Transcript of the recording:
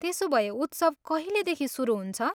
त्यसोभए उत्सव कहिलेदेखि सुरु हुन्छ?